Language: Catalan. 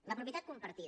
la propietat compartida